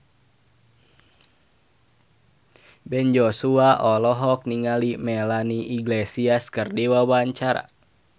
Ben Joshua olohok ningali Melanie Iglesias keur diwawancara